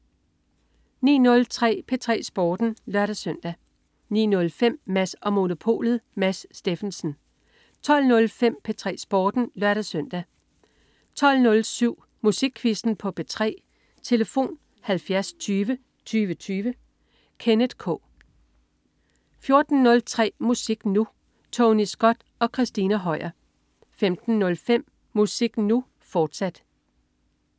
09.03 P3 Sporten (lør-søn) 09.05 Mads & Monopolet. Mads Steffensen 12.05 P3 Sporten (lør-søn) 12.07 Musikquizzen på P3. Tlf.: 70 20 20 20. Kenneth K 14.03 Musik Nu! Tony Scott og Christina Høier 15.05 Musik Nu!, fortsat